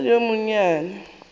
ke sa le yo monyenyane